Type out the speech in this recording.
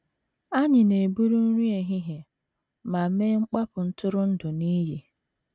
Anyị na - eburu nri ehihie ma mee mkpapụ ntụrụndụ n’iyi.